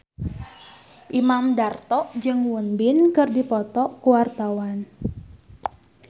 Imam Darto jeung Won Bin keur dipoto ku wartawan